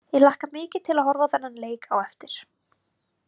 Ég hlakka mikið til að horfa á þennan leik á eftir.